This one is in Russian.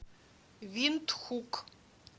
виндхук